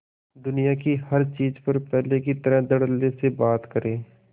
दुनिया की हर चीज पर पहले की तरह धडल्ले से बात करे